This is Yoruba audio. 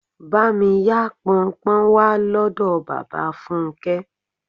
Bá mi yá Pọnpọ́n wá lọ́dọ̀ bàbá Fúnké.